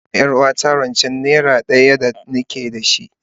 Na ba ma yar uwarta rance naira kaka daya da ni ke da shi,